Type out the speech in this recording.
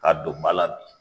Ka don ba la bi